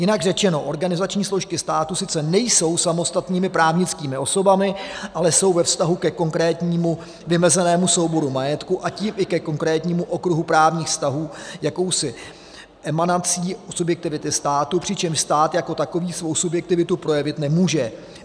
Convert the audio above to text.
Jinak řečeno, organizační složky státu sice nejsou samostatnými právnickými osobami, ale jsou ve vztahu ke konkrétnímu vymezenému souboru majetku, a tím i ke konkrétnímu okruhu právních vztahů jakousi emanací subjektivity státu, přičemž stát jako takový svou subjektivitu projevit nemůže.